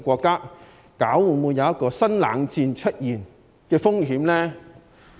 會否出現新冷戰的風險呢？